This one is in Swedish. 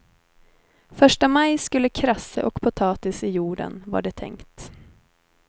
Första maj skulle krasse och potatis i jorden, var det tänkt.